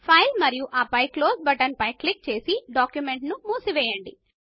file మరియు ఆపై close పైన క్లిక్ చేసి డాక్యుమెంట్ ను మూసివేయండి